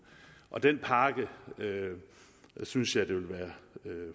den pakke synes jeg vil være